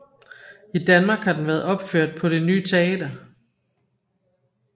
I Danmark har den været opført på Det Ny Teater